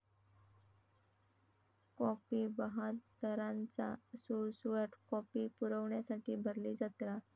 copy बहाद्दरांचा सुळसुळाट, copy पुरवण्यासाठी भरली जत्रा